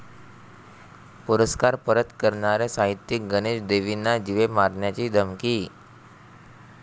पुरस्कार परत करणारे साहित्यिक गणेश देवींना जीवे मारण्याची धमकी